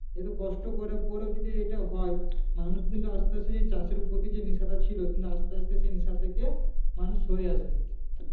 এতো কষ্ট করার পরেও যদি এটা হয় মানুষ কিন্তু আস্তে আস্তে চাষের প্রতি যে নেশাটা ছিল কিন্তু আস্তে আস্তে সেই নেশা থেকে মানুষ সরে আসবে